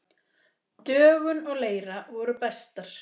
Dögun og Leira voru bestar.